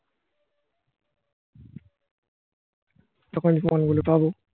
তখন প্রমান গুলো পাবো.